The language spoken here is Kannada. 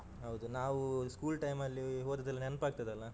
ಹೌದು ನಾವು school time ಅಲ್ಲಿ ಹೋದದ್ದೆಲ್ಲ ನೆನಪಾಗ್ತದಲ್ಲ.